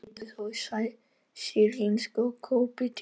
Einhverjir rituðu þó á sýrlensku og koptísku.